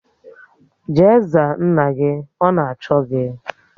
Jee za nna gị! Ọ na-achọ gi